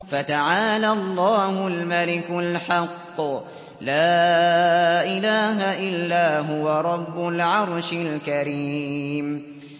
فَتَعَالَى اللَّهُ الْمَلِكُ الْحَقُّ ۖ لَا إِلَٰهَ إِلَّا هُوَ رَبُّ الْعَرْشِ الْكَرِيمِ